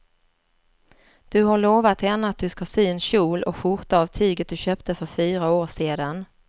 Du har lovat henne att du ska sy en kjol och skjorta av tyget du köpte för fyra år sedan.